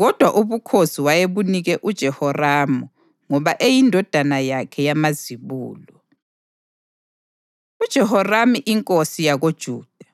kodwa ubukhosi wayebunike uJehoramu ngoba eyindodana yakhe yamazibulo. UJehoramu Inkosi YakoJuda